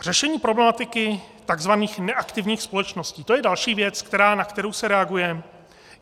Řešení problematiky takzvaných neaktivních společností, to je další věc, na kterou se reaguje.